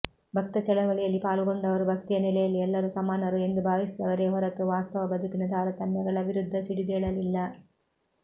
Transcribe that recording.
ಭಕ್ತ ಚಳವಳಿಯಲ್ಲಿ ಪಾಲುಗೊಂಡವರು ಭಕ್ತಿಯ ನೆಲೆಯಲ್ಲಿ ಎಲ್ಲರೂ ಸಮಾನರು ಎಂದು ಭಾವಿಸಿದವರೇ ಹೊರತು ವಾಸ್ತವ ಬದುಕಿನ ತಾರತಮ್ಯಗಳ ವಿರುದ್ಧ ಸಿಡಿದೇಳಲಿಲ್ಲ